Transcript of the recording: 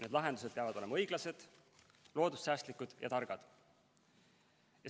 Need lahendused peavad olema õiglased, loodussäästlikud ja targad.